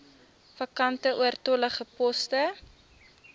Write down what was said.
vakante oortollige poste